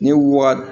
Ni wa